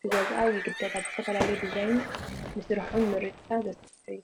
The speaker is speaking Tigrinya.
ክገዝኣ ይግደዳ፡፡ ብዝተፈላለየ ዲዛይን ምስርሖም ምርጫ ዘስፍሕ እዩ፡፡